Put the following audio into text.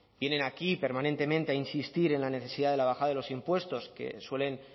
vienen aquí permanentemente a insistir en la necesidad de la baja de los impuestos que suelen